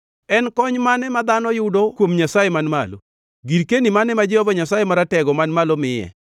En kony mane ma dhano yudo kuom Nyasaye man malo, girkeni mane ma Jehova Nyasaye Maratego man malo miye?